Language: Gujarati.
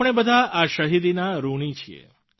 આપણે બધા આ શહિદીના ઋણી છીએ